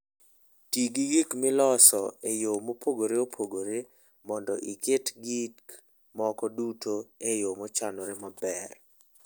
Ti gi gik miloso e yo mopogore opogore mondo iket gik moko duto e yo mochanore maber.